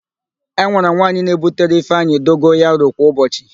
E nwere nwaanyị na-ebutere ịfeanyị dogoyaro kwa ụbọchị.